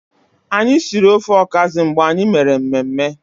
Anyi siri ofe ọkazị mgbe anyi mere mmemme.